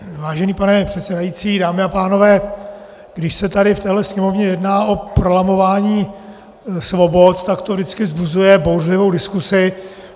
Vážený pane předsedající, dámy a pánové, když se tady v této Sněmovně jedná o prolamování svobod, tak to vždycky vzbuzuje bouřlivou diskusi.